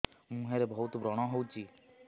ମୁଁହରେ ବହୁତ ବ୍ରଣ ହଉଛି